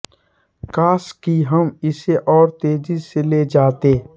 काश कि हम इसे और तेजी से ले जाते